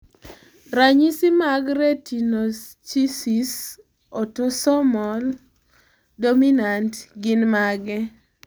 Ranyisi mag Retinoschisis autosomal dominat gin mage?